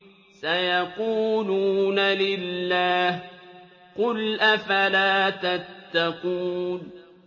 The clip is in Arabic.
سَيَقُولُونَ لِلَّهِ ۚ قُلْ أَفَلَا تَتَّقُونَ